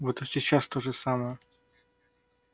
вот и сейчас то же самое